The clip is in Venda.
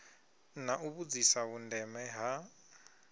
na u vhudzisa vhundeme ha